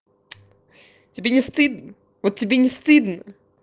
тебе не стыдно вот тебе не стыдно